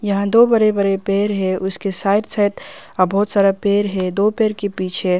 यहां दो बड़े बड़े पेड़ है उसके साइड साइड बहुत सारा पेड़ है दो पेड़ के पीछे--